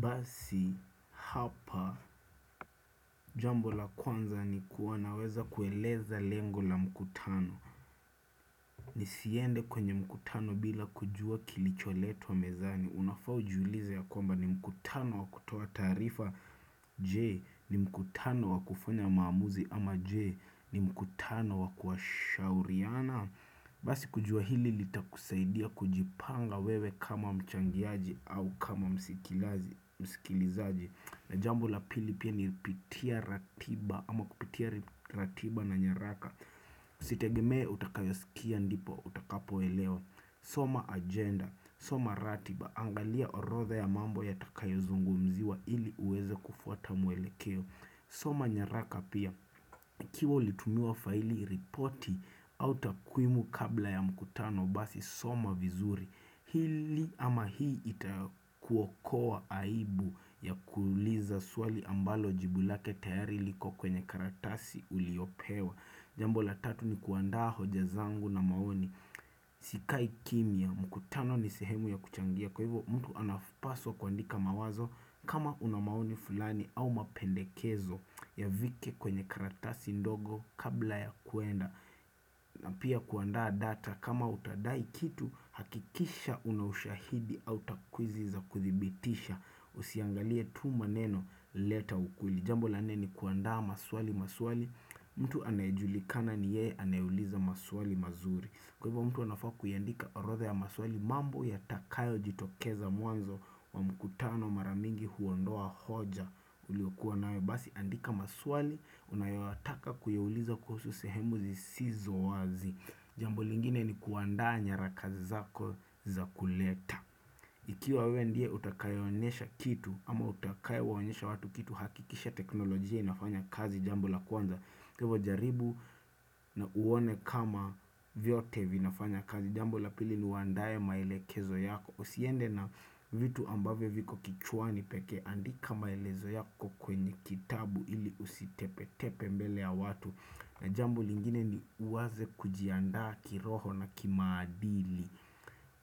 Basi hapa jambo la kwanza ni kuwanaweza kueleza lengo la mkutano Nisiende kwenye mkutano bila kujua kilicho letwa mezani Unafa ujuulize ya kwamba ni mkutano wa kutoa tarifa J ni mkutano wa kufunya maamuzi ama J ni mkutano wa kuashauriana Basi kujua hili litakusaidia kujipanga wewe kama mchangiaji au kama msikilizaji na jambo la pili pia ni pitia ratiba ama kupitia ratiba na nyeraka. Sitegemee utakayosikia ndipo utakapo elewa. Soma agenda. Soma ratiba. Angalia orotha ya mambo yatakayo zungumziwa ili uweze kufuata mwelekeo. Soma nyeraka pia. Kiwa ulitumiwa faili ripoti au takwimu kabla ya mkutano basi soma vizuri Hili ama hii itakuokoa aibu ya kuliza suali ambalo jibulake tayari liko kwenye karatasi uliopewa Jambo la tatu ni kuanda hoja zangu na maoni Sikai kimia mkutano ni sehemu ya kuchangia kwa hivo mtu anapaswa kwandika mawazo kama unamauni fulani au mapendekezo ya vike kwenye karatasi ndogo kabla ya kuenda na pia kuandaa data kama utadai kitu hakikisha unashahidi au takwizi za kuthibitisha Usiangalie tu maneno leta ukweli Jambo lanneni kuandaa maswali maswali mtu anayejulikana ni ye anayuliza maswali mazuri Kwa hivyo mtu wanafua kuyandika orothe ya maswali mambo ya takayo jitokeza muanzo wa mkutano maramingi huondoa hoja uliwakua nawe basi andika maswali unayawataka kuyawuliza kuhusu sehemuzi sizo wazi. Jambo lingine ni kuandaa nyaraka zako za kuleta. Ikiwa we ndiye utakayonesha kitu ama utakayo wanyesha watu kitu hakikisha teknolojia inafanya kazi jambo la kwanza. Kwevo jaribu na uone kama vyote vinafanya kazi jambu lapili luandaye maelekezo yako Usiende na vitu ambavo viko kichuani peke andika maelezo yako kwenye kitabu ili usitepe tepe mbele ya watu na jambo lingine ni uwaze kujiandaa kiroho na kimadili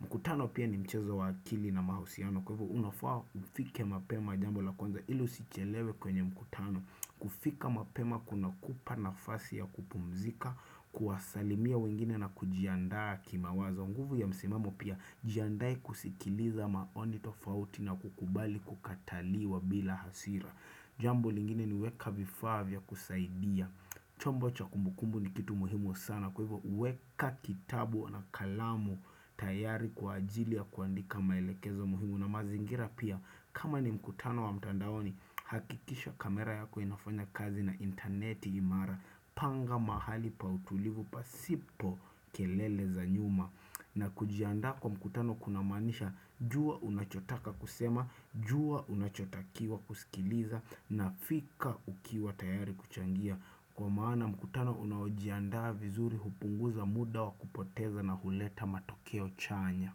mkutano pia ni mchezo wakili na mahusiano kwevo unafua ufike mapema jambu lakuanza ili usichelewe kwenye mkutano kufika mapema kuna kupa nafasi ya kupumzika, kuwasalimia wengine na kujiandaa kima wazo nguvu ya msimamo pia jiandai kusikiliza maoni tofauti na kukubali kukataliwa bila hasira Jambu lingine ni weka vifavya kusaidia chombo cha kumbukumbu ni kitu muhimu sana kwa hivyo weka kitabu na kalamu tayari kwa ajili ya kuandika maelekezo muhimu Una mazingira pia kama ni mkutano wa mtandaoni hakikisha kamera yako inafanya kazi na interneti imara panga mahali pa utulivu pa sipo kelele za nyuma. Na kujianda kwa mkutano kunamanisha juwa unachotaka kusema, juwa unachotakiwa kusikiliza na fika ukiwa tayari kuchangia. Kwa maana mkutano unaojianda vizuri hupunguza muda wa kupoteza na huleta matokeo chanya.